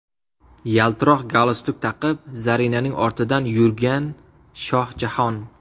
Yaltiroq galstuk taqib, Zarinaning ortidan yurgan Shohjahon.